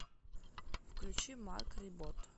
включи марк рибот